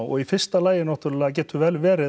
og í fyrsta lagi náttúrulega getur vel verið